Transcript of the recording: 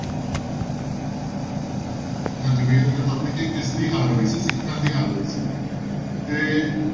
ਹਾਂਜੀ ਕਿਸ ਦੀ ਹਾਰ ਹੋਈ ਸੀ, ਸਿੱਖਾਂ ਦੀ ਹਾਰ ਹੋਈ ਸੀ ਤੇ